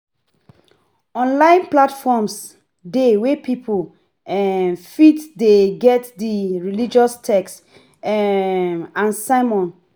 Online platforms dey wey pipo fit get religous text um and sermons